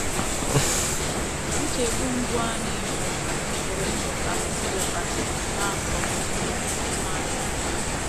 Nchegbu mbụ anyị bụ ma ànyị pụrụ ịmụta asụsụ Japanese n’afọ um ndụ anyị.